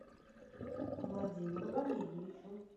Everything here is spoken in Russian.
владимиру валерьевичу